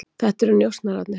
Þetta eru njósnararnir.